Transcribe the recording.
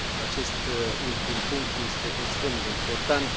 Acest ultim punct este extrem de important.